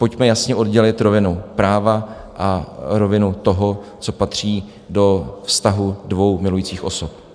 Pojďme jasně oddělit rovinu práva a rovinu toho, co patří do vztahu dvou milujících osob.